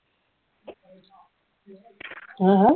হা হা